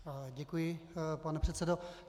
Děkuji, pane předsedo.